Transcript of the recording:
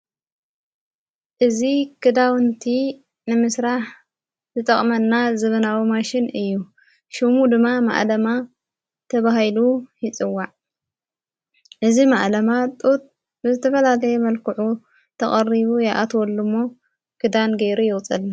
እዝ ግዳውንቲ ንምስራሕ ዝጠቕመና ዝብናዊ ማሽን እዩ ሹሙ ድማ ማዓለማ ተብሂሉ ይጽዋዕ እዝ መዓለማ ጥት ብዝተፈላሌየ መልክዑ ተቐሪቡ የኣትወሉ እሞ ግዳን ጌይሩ የውፀልና።